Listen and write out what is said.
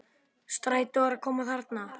Strætó er að koma þarna!